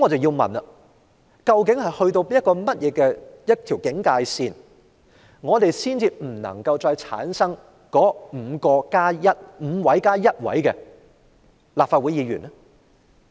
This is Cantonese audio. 那麼，究竟出缺人數到達哪條警戒線才不會繼續選出上述 "5+1" 的立法會議員？